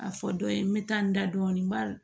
A fɔ dɔ ye n bɛ taa n da dɔɔnin n b'a